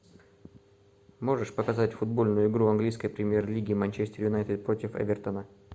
можешь показать футбольную игру английской премьер лиги манчестер юнайтед против эвертона